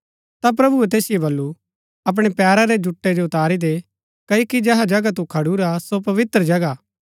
ता प्रभुऐ तैसिओ बल्लू अपणै पैरा री जुटै जो उतारी दे क्ओकि जेहा जगह तू खडुरा सो पवित्र जगह हा